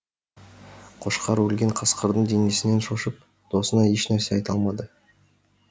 қошқар өлген қасқырдың денесінен шошып досына еш нәрсе айта алмады